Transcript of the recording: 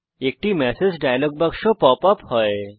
একটি message dialog বাক্স pop up হয়